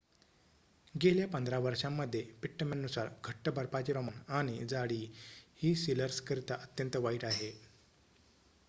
गेल्या 15 वर्षांमध्ये पिट्टमॅन नुसार घट्ट बर्फाचे प्रमाण आणि जाडी ही सिलर्स करिता अत्यंत वाईट आहे